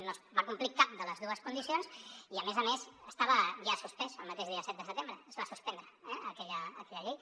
no es va complir cap de les dues condicions i a més a més estava ja suspès el mateix dia set de setembre es va suspendre aquella llei